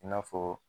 I n'a fɔ